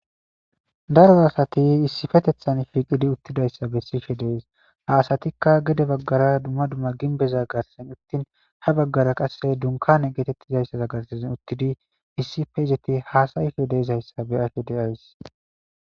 Daro asay issipetetan shiiqidi dizaysa besidi de'es ha asatika gede bagara duma duma gimbeza garsan uthidi ha bagara kaseka dunkane keetetida gizaysan uthidi issipe izeti hasa'ishe dizaysa be'ays.